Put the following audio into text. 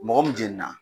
Mɔgɔ min jenina